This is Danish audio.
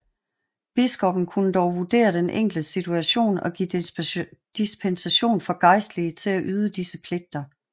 Biskoppen kunne dog vurdere den enkelte situation og give dispensation for gejstlige til at yde disse pligter